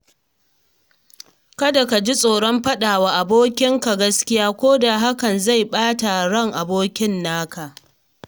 Kada ka ji tsoron faɗawa abokin ka gaskiya koda hakan zai ɓata ran abokin naka.